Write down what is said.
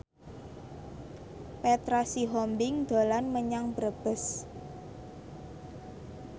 Petra Sihombing dolan menyang Brebes